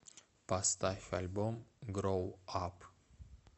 поставь альбом гроу ап